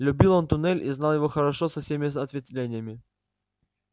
любил он туннель и знал его хорошо со всеми ответвлениями